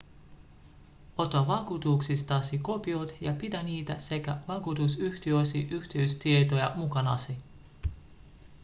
ota vakuutuksistasi kopiot ja pidä niitä sekä vakuutusyhtiösi yhteystietoja mukanasi